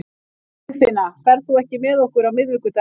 Friðfinna, ferð þú með okkur á miðvikudaginn?